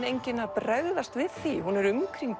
enginn að bregðast við því hún er umkringd